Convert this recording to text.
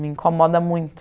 Me incomoda muito.